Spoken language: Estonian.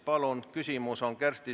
Palun!